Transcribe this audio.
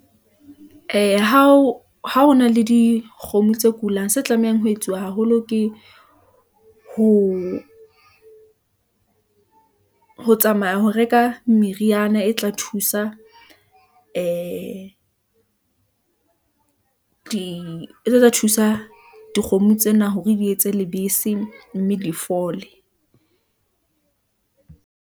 Eya, ha o na le dikgomo tse kulang, se tlamehang ho etsuwa haholo ke ho tsamaya ho reka meriana e tlang thusa ee , di tla thusa dikgomo tsena hore di etse lebese, mme di fole.